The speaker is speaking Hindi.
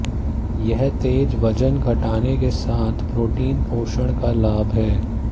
यह तेज वजन घटाने के साथ प्रोटीन पोषण का लाभ है